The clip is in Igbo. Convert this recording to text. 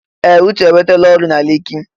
Ee! Uche enwetala ọrụ na Leki.